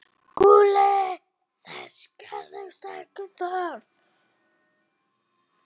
SKÚLI: Þess gerist ekki þörf.